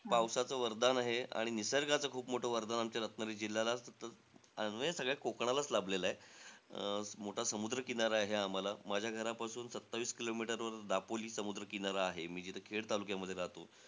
पावसाचं वरदान आहे आणि निसर्गाचं खूप मोठं वरदान आमच्या रत्नागिरीला जिल्ह्याला म्हणजे सगळ्या कोकणालाचं लाभलेलंय. अं मोठा समुद्र किनारा आहे आम्हाला. माझ्या घरापासून सत्तावीस kilometer वर दापोली समुद्र किनारा आहे, मी जिथं खेड तालुक्यामध्ये राहतो.